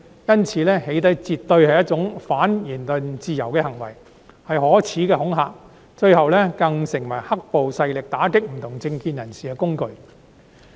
因此，"起底"絕對是一種反言論自由的行為，是可耻的恐嚇，最後更成為"黑暴"勢力打擊不同政見人士的工具。